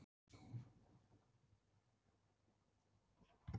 Hann var svo glæsilegur að hann var kallaður